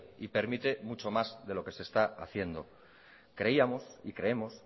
y permite mucho más de lo que se está haciendo creíamos y creemos